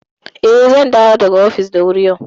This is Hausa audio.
Eh, zan dawo daga ofis da wuri yau.